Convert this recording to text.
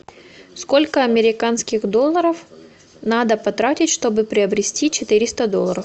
сколько американских долларов надо потратить чтобы приобрести четыреста долларов